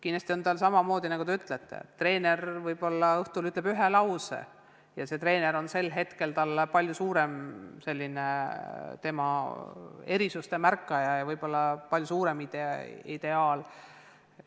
Kindlasti on samamoodi nagu teiegi ütlesite, et näiteks treener, kes võib-olla õhtul ütleb ühe lause, märkab vahel palju rohkem lapse erisusi ja on talle võib-olla palju suurem ideaal.